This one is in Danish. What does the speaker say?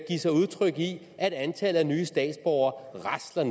sig udtryk i at antallet af nye statsborgere rasler